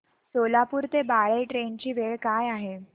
सोलापूर ते बाळे ट्रेन ची वेळ काय आहे